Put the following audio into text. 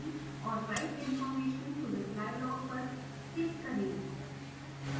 और write information to reply log पर click करें